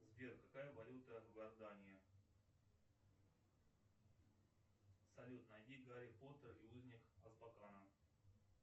сбер какая валюта в иордании салют найди гарри поттер и узник азкабана